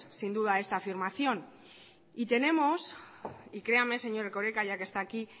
sin duda esta afirmación y tenemos y créame señor erkoreka ya que está aquí